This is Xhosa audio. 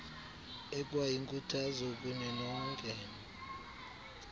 ekwayinkuthazo kuni nonke